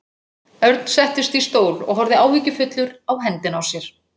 Örn settist í stól og horfði áhyggjufullur á hendina á sér.